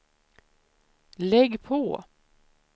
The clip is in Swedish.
lägg på